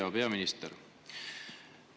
Hea peaminister!